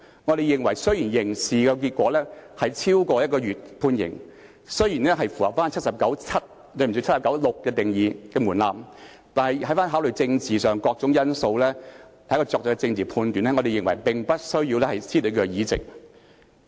我們認為雖然刑事結果是監禁超過1個月，雖然符合《基本法》第七十九條第六項的門檻，但考慮到政治上的各種因素，在作出政治判斷後，我們認為無須褫奪其議席。